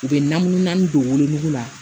U bɛ namu naani don wolonugu la